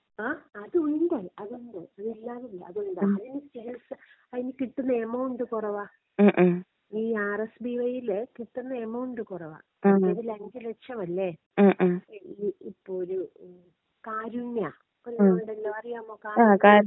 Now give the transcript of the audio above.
ആ അതുണ്ട് അതുണ്ട്. അതില്ലാന്ന് അല്ല അതുണ്ട്. അതിന് ചികിത്സ അതിന് കിട്ടുന്ന എമൗണ്ട് കുറവാ. ഈ ആർ യെസ് ഡി വൈ ൽ കിട്ടുന്ന എമൗണ്ട് കുറവാ. ഇതിൽ അഞ്ച് ലക്ഷംമല്ലേ. ഇപ്പോ ഒരു കാരുണ്യ ഉള്ളതുണ്ടല്ലോ അറിയാമോ കാരുണ്യ?